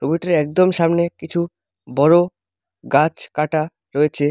ওইটার একদম সামনে কিছু বড় গাছ কাটা রয়েছে।